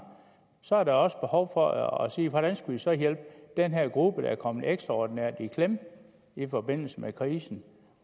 så er der også behov for at sige hvordan skal vi så hjælpe den her gruppe der er kommet ekstraordinært i klemme i forbindelse med krisen